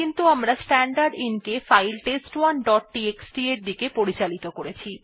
কিন্তু আমরা স্ট্যান্ডারদিন কে ফাইল test1ডট টিএক্সটি এর দিকে পরিচালিত করেছি